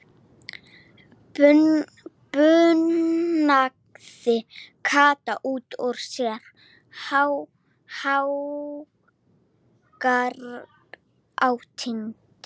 bunaði Kata út út sér hágrátandi.